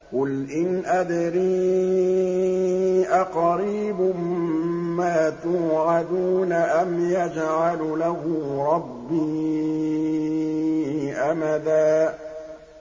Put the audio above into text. قُلْ إِنْ أَدْرِي أَقَرِيبٌ مَّا تُوعَدُونَ أَمْ يَجْعَلُ لَهُ رَبِّي أَمَدًا